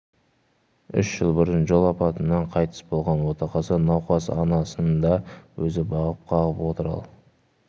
үш жыл бұрын жол апатынан қайтыс болған отағасы науқас анасын да өзі бағып-қағып отыр ал